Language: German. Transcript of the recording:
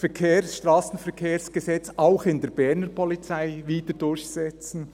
«Strassenverkehrsgesetz auch in der Berner Polizei wieder durchsetzen».